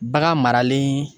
Bagan marali